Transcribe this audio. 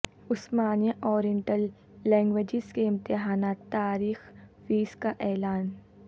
عثمانیہ oriental languages کے امتحانات تاریخ فیس کا اعلان